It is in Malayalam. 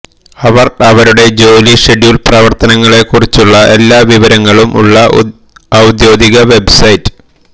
അവർ അവരുടെ ജോലി ഷെഡ്യൂൾ പ്രവർത്തനങ്ങളെക്കുറിച്ചുള്ള എല്ലാ വിവരങ്ങളും ഉളള ഔദ്യോഗിക വെബ്സൈറ്റ്